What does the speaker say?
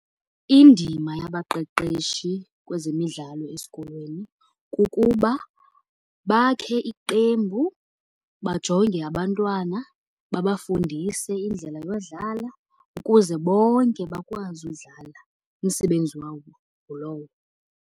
Indima yabaqeqeshi kwezemidlalo esikolweni kukuba bakhe iqembu, bajonge abantwana, babafundise indlela yodlala ukuze bonke bakwazi udlala. Umsebenzi wabo ngulowo.